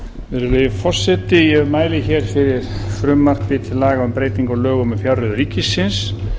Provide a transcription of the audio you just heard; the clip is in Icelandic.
virðulegi forseti ég mæli fyrir frumvarpi til laga um breytingu á lögum um fjárreiður ríkisins